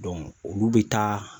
olu bɛ taa